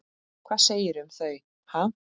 Hvað segirðu um þau, ha?